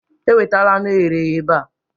Ewetala anụ e ghere eghe ebe a